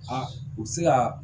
A u bɛ se ka